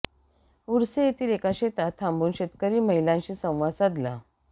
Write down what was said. ऊर्से येथील एका शेतात थांबुन शेतकरी महिलांशी संवाद साधला